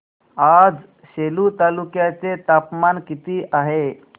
आज सेलू तालुक्या चे तापमान किती आहे